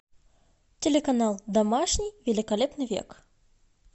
телеканал домашний великолепный век